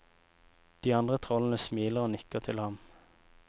De andre trollene smiler og nikker til ham.